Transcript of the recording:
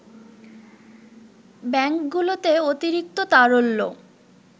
ব্যাংকগুলোতে অতিরিক্ত তারল্য